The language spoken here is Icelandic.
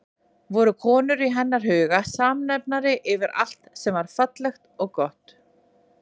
Voru konur í hennar huga samnefnari yfir allt sem var fallegt og gott?